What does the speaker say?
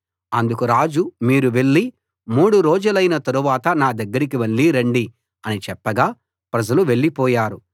అందుకు రాజు మీరు వెళ్లి మూడు రోజులైన తరువాత నా దగ్గరికి మళ్ళీ రండి అని చెప్పగా ప్రజలు వెళ్లిపోయారు